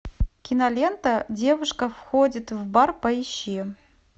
кинолента девушка входит в бар поищи